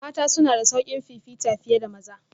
Mata suna da sauƙin fifita fiye da maza